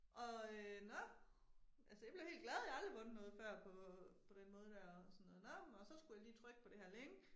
Og øh nå. Altså jeg blev helt glad jeg har aldrig vundet noget før på på den måde der og sådan noget nå men og så skulle jeg lige trykke på det her link